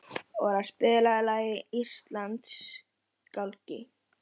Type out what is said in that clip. Kveikti í tundrinu og neistarnir átu sig upp eftir kveiknum.